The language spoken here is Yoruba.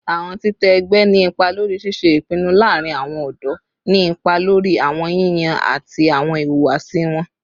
Awọn titẹ ẹgbẹ ni ipa lori ṣiṣe ipinnu laarin awọn ọdọ, ni ipa lori awọn yiyan ati awọn ihuwasi wọn